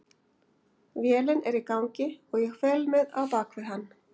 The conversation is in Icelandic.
Vélin er í gangi og ég fel mig á bakvið hann.